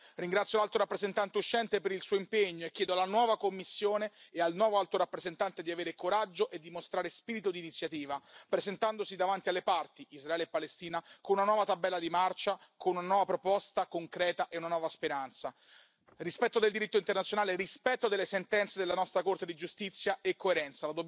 Ringrazio l'Alto rappresentante uscente per il suo impegno e chiedo alla nuova Commissione e al nuovo Alto rappresentante di avere coraggio e di mostrare spirito d'iniziativa, presentandosi davanti alle parti, Israele e Palestina, con una nuova tabella di marcia, con una nuova proposta concreta e una nuova speranza. Rispetto del diritto internazionale, rispetto delle sentenze della nostra Corte di giustizia e coerenza.